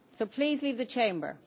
please leave the Chamber